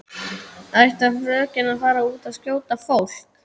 Ætlar frökenin að fara út og skjóta fólk?